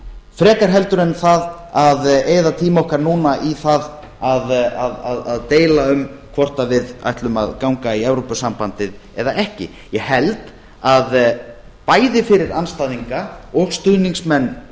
frekar heldur en það að eyða tíma okkar núna í það að deila um hvort við ætlum að ganga í evrópusambandið eða ekki ég held að bæði fyrir andstæðinga og stuðningsmenn